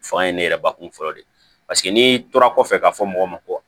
Fanga ye ne yɛrɛ bakun fɔlɔ de paseke n'i tora kɔfɛ ka fɔ mɔgɔ ma ko